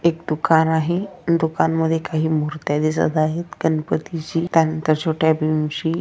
एक दुकान आहे दुकानमध्ये काही मुर्त्या दिसत आहेत गणपतीची त्या नंतर छोट्या भीमची--